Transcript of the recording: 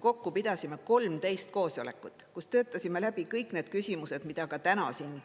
Kokku pidasime 13 koosolekut, kus töötasime läbi kõik need küsimused, mida ka täna siin